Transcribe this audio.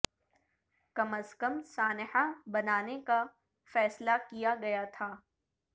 کم از کم سانحہ بنانے کا فیصلہ کیا گیا تھا